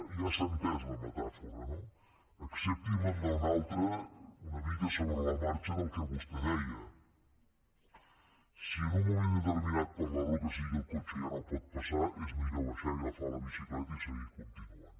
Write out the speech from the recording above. ja s’ha entès la metàfora no acceptin me’n una altra una mica sobre la marxa del que vostè deia si en un moment determinat per la raó que sigui el cotxe ja no pot passar és millor baixar i agafar la bicicleta i seguir continuant